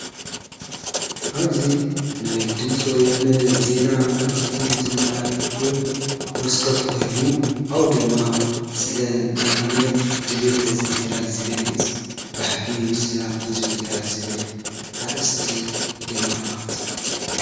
ኣብዙ ናይ ድምፂ ወያነ ዜና መልእኽቲ ዘመሓላልፍሉ መስኮት ኮይኑ አቡኡ ድማ ስለ እንታይነት ድልየት ሕዚቢ ትግራይ ዝገልጽ ብሕጊ ሰላም ሕዝቢ ትግራይ ዝብል ኣርእስቲ የመላኽት::